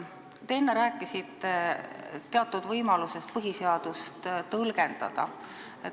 Te enne rääkisite teatud võimalusest põhiseadust tõlgendada.